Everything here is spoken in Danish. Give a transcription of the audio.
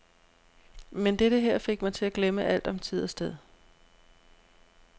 Men dette her fik mig til at glemme alt om tid og sted.